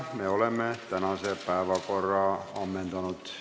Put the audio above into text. Me oleme tänase päevakorra ammendanud.